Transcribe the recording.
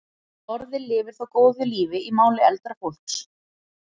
Orðið lifir þó góðu lífi í máli eldra fólks.